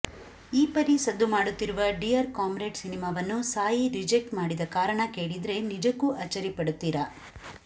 ಈ ಪರಿ ಸದ್ದು ಮಾಡುತ್ತಿರುವ ಡಿಯರ್ ಕಾಮ್ರೇಡ್ ಸಿನಿಮಾವನ್ನು ಸಾಯಿ ರಿಜೆಕ್ಟ್ ಮಾಡಿದ ಕಾರಣ ಕೇಳಿದ್ರೆ ನಿಜಕ್ಕು ಅಚ್ಚರಿ ಪಡುತ್ತೀರಾ